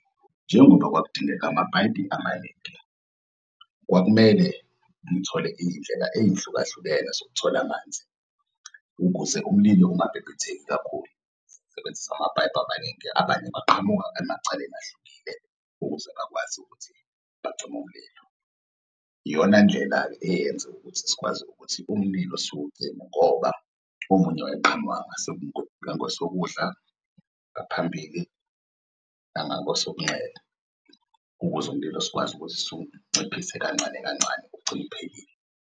Njengoba kwakudingeka amaningi, kwakumele ngithole iy'ndlela ey'hlukahlukene zokuthola amanzi ukuze umlilo ungabhebhetheki kakhulu, sisebenzise amapayipi amaningi abanye baqhamuka emacaleni ahlukile ukuze bakwazi ukuthi bacim'mlilo. Iyona ndlela-ke eyenza ukuthi sikwazi ukuthi umlilo siwucime ngoba omunye wayeqhamuka ngangasokudla, ngaphambili, nangakwesokunxele ukuze umlilo sikwazi ukuthi siwunciphise kancane kancane, ugcine uphelile.